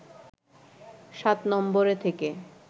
সাত নম্বরে থেকে